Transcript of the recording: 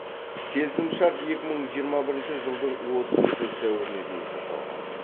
келісімшарт екі мың жиырма бірінші жылдың отызыншы сәуіріне дейін жасалған